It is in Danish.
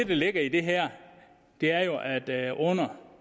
der ligger i det her er jo at at under